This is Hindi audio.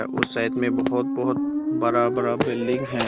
उस साइड बहुत बहुत बड़ा बड़ा बिल्डिंग है।